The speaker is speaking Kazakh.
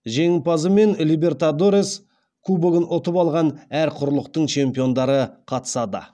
жеңімпазы мен либертадорес кубогын ұтып алған әр құрлықтың чемпиондары қатысады